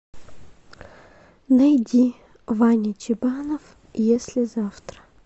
найди ваня чебанов если завтра